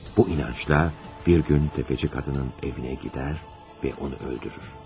Bu inancıyla bir gün təfəçi qadının evinə gedər və onu öldürür.